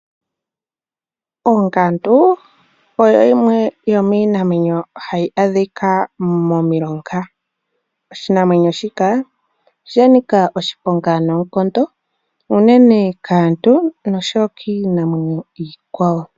Ongandu oyo yimwe yomiinamwenyo hahi adhika momilonga. Oshinamwenyo shika osha nika oshiponga noonkondo unene kaantu noshowo kiinamwenyo iikwawo.